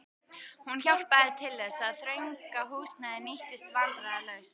Hún hjálpaði til þess, að þetta þrönga húsnæði nýttist vandræðalaust.